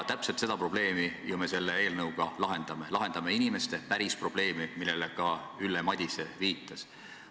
Täpselt seda probleemi me ju selle eelnõuga lahendame, lahendame inimeste päris probleemi, millele ka Ülle Madise viitas.